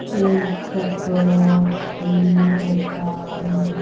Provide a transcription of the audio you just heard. एक कपड़ों की दुकान--